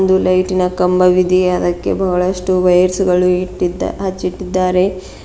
ಒಂದು ಲೈಟಿ ನ ಕಂಬವಿದೆ ಅದಕ್ಕೆ ಬಹಳಷ್ಟು ವೈರ್ಸ್ ಗಳು ಇಟ್ಟಿ ಹಚ್ಚಿಟ್ಟಿದ್ದಾರೆ.